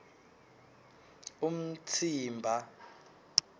umtsimba